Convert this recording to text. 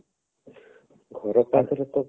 ଘର ପାଖରେ ତ